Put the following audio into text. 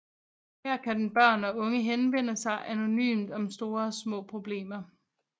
Her kan børn og unge henvende sig anonymt om store og små problemer